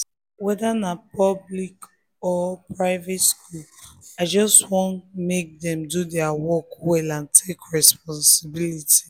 whether na public or private school i just want make dem do their work well and take responsibility